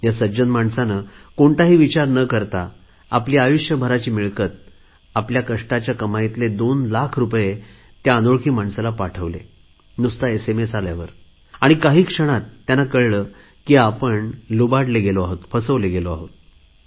ह्या सज्जन माणसाने कोणताही विचार न करता आपली आयुष्यभराची कमाई आपल्या कष्टाच्या कमाईतले 2 लाख रुपये त्या अनोळखी माणसाला पाठवले नुसता एसएमएस आल्यावर आणि काही क्षणात त्यांना कळले आपण फसवले गेलो आहोत